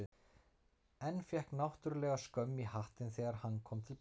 En fékk náttúrlega skömm í hattinn þegar hann kom til baka.